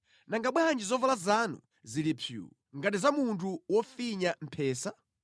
Nanga bwanji zovala zanu zili psuu, ngati za munthu wofinya mphesa?